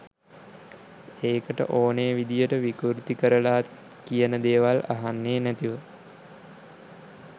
ඒකට ඕනේ විදිහට විකුර්ති කරලා කියන දේවල් අහන්නේ නැතුව